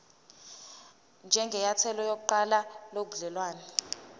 njengenyathelo lokuqala lobudelwane